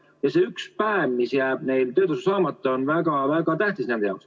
Ja see üks päev, mis jääb neil töötasu saamata, on väga-väga tähtis.